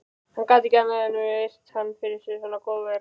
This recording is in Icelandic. Hann gat ekki annað en virt hann fyrir svona góðverk